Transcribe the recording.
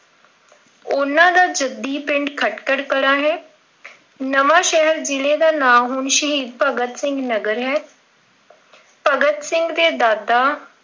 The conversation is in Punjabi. ਉਹਨਾਂ ਦਾ ਜੱਦੀ ਪਿੰਡ ਖ਼ਟਕਲ ਕਲਾ ਹੈ ਅਹ ਨਵਾਂ ਸ਼ਹਿਰ ਜ਼ਿਲ੍ਹੇ ਦਾ ਨਾਮ ਹੁਣ ਸ਼ਹੀਦ ਭਗਤ ਸਿੰਘ ਨਗਰ ਹੈ। ਅਮ ਭਗਤ ਸਿੰਘ ਦੇ ਦਾਦਾ